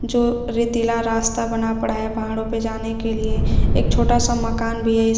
जो रेतीला रास्ता बना पड़ा है पहाड़ों पे जाने के लिए एक छोटा सा मकान भी है।